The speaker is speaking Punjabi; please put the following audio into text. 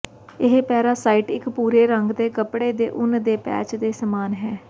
ਇਹ ਪੈਰਾਸਾਈਟ ਇੱਕ ਭੂਰੇ ਰੰਗ ਦੇ ਕਪੜੇ ਦੇ ਉੱਨ ਦੇ ਪੈਚ ਦੇ ਸਮਾਨ ਹੈ